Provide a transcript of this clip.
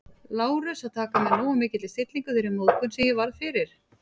Lárus, að taka með nógu mikilli stillingu þeirri móðgun, sem ég varð fyrir